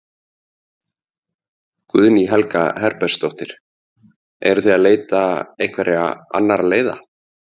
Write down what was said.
Guðný Helga Herbertsdóttir: Eruð þið að leita einhverja annarra leiða?